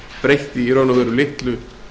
breytti í raun og veru litlu